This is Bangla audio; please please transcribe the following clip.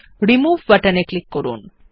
রিমুভ বাটন এ ক্লিক করুন